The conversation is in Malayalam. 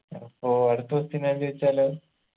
അപ്പോ അടുത്ത question ഞാൻ ചോയിച്ചാലോ